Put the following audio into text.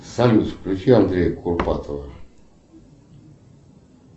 салют включи андрея курпатова